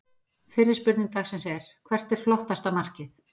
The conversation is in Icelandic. Fyrri spurning dagsins er: Hvert er flottasta markið?